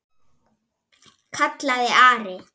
kallaði Ari.